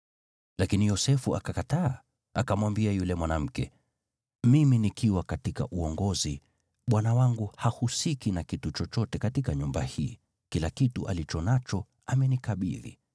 Lakini Yosefu akakataa. Akamwambia yule mwanamke, “Mimi nikiwa katika uongozi, bwana wangu hahusiki na kitu chochote katika nyumba hii, kila kitu alicho nacho amenikabidhi.